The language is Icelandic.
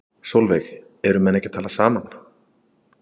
Sólveig: Eru menn ekki að tala saman?